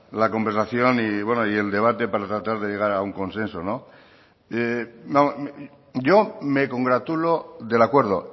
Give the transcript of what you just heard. la conversación y el debate para tratar de llegar a un consenso yo me congratulo del acuerdo